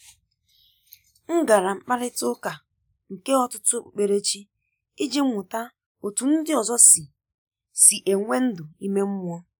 M gara mkparịta ụka nke ọtụtụ okpukperechi iji mụta otú ndị ọzọ si si enwe ndụ ime mmụọ.